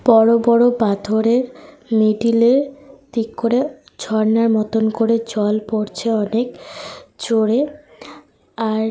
বড় বড় পাথরের মিডল -এ দিক করে ঝর্ণার মতন করে জল পড়ছে অনেক জোরে। আর।